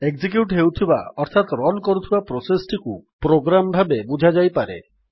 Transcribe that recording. execute ହେଉଥିବା ଅର୍ଥାତ୍ run କରୁଥିବା ପ୍ରୋସେସ୍ ଟିକୁ ପ୍ରୋଗ୍ରାମ୍ ଭାବେ ବୁଝାଯାଇପାରେ